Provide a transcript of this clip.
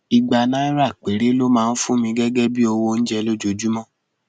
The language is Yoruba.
ìgbà náírà péré ló máa ń fún mi gẹgẹ bíi owó oúnjẹ lójúmọ